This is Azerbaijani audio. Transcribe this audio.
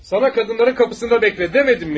Sənə qadınların qapısında gözlə demədimmi?